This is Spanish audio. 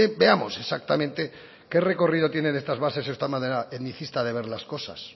veamos exactamente qué recorrido tienen estas bases esta manera etnicista de ver las cosas